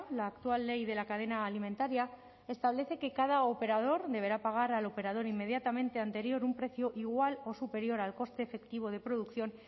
la actual ley de la cadena alimentaria establece que cada operador deberá pagar al operador inmediatamente anterior un precio igual o superior al coste efectivo de producción